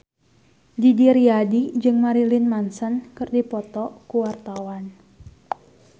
Didi Riyadi jeung Marilyn Manson keur dipoto ku wartawan